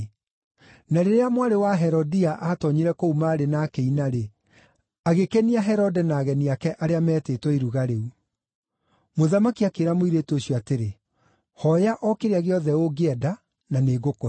Na rĩrĩa mwarĩ wa Herodia aatoonyire kũu maarĩ na akĩina-rĩ, agĩkenia Herode na ageni ake arĩa meetĩtwo iruga rĩu. Mũthamaki akĩĩra mũirĩtu ũcio atĩrĩ, “Hooya o kĩrĩa gĩothe ũngĩenda na nĩngũkũhe.”